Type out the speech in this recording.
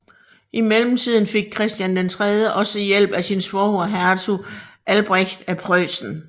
I mellemtiden fik Christian III også hjælp af sin svoger hertug Albrecht af Preussen